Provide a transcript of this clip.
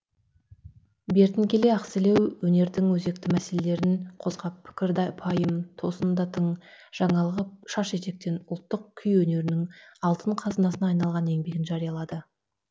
бертін келе ақселеу өнердің өзекті мәселелерін қозғап пікір пайым тосын да тың жаңалығы шаш етектен ұлттық күй өнерінің алтын қазынасына айналған еңбегін жариялады